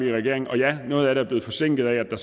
i regering ja noget af det blevet forsinket af at der